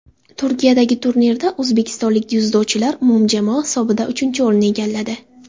Turkiyadagi turnirda o‘zbekistonlik dzyudochilar umumjamoa hisobida uchinchi o‘rinni egalladi.